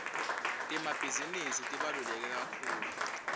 temabhizinisi tibaluleke kakhulu